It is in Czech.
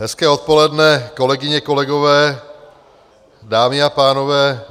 Hezké odpoledne, kolegyně, kolegové, dámy a pánové.